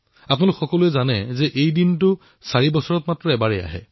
আমি সকলোৱে জানো যে এই দিনটো প্ৰতি চাৰি বছৰৰ মূৰে মূৰে আহে